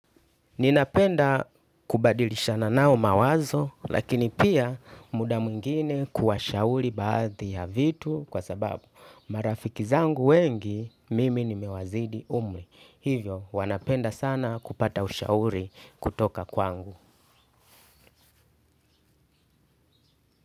Ninapenda kubadilishana nao mawazo lakini pia muda mwingine kuwashauri baadhi ya vitu kwa sababu marafiki zangu wengi mimi nimewazidi umri. Hivyo wanapenda sana kupata ushauri kutoka kwangu.